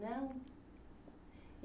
Não?